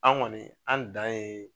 An kɔni an dan ye